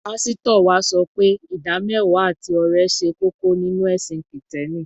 Pásítọ̀ wa sọ pé ìdámẹ́wàá àti ọrẹ ṣe kókó nínú ẹ̀sìn Kìtẹ́ẹ́nì.